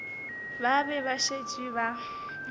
ba be ba šetše ba